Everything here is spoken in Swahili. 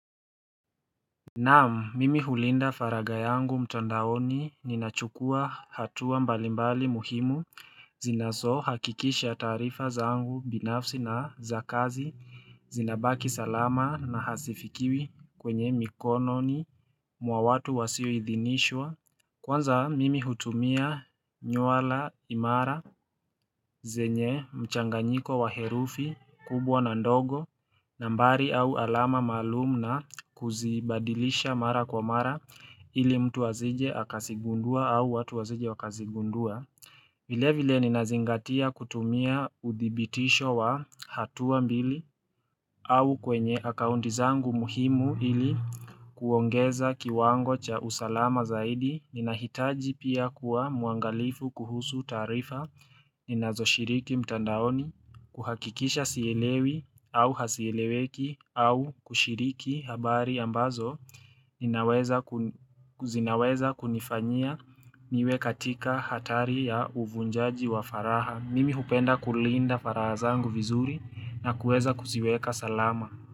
Naam, mimi hulinda faraga yangu mtandaoni, ninachukua hatua mbalimbali muhimu zinaso hakikisha tarifa zangu binafsi na za kazi zinabaki salama na hazifikiwi kwenye mikononi mwawatu wasio idhinishwa. Kwanza mimi hutumia nywala imara, zenye, mchanganyiko wa herufi, kubwa na ndogo, nambari au alama maalum na kuzibadilisha mara kwa mara ili mtu asije akasigundua au watu wasije wakasigundua. Vile vile ninazingatia kutumia udhibitisho wa hatua mbili au kwenye akaunti zangu muhimu ili kuongeza kiwango cha usalama zaidi ninahitaji pia kuwa muangalifu kuhusu taarifa. Ninazo shiriki mtandaoni kuhakikisha sielewi au hasieleweki au kushiriki habari ambazo Ninaweza kunifanyia niwe katika hatari ya uvunjaji wa faraha, Mimi hupenda kulinda faraha zangu vizuri na kueza kuziweka salama.